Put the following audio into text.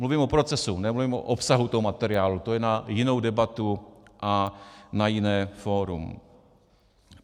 Mluvím o procesu, nemluvím o obsahu toho materiálu, to je na jinou debatu a na jiné fórum.